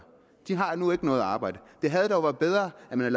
de har nu ikke noget arbejde det havde dog været bedre at man